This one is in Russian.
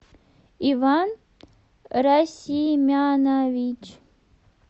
иван расимянович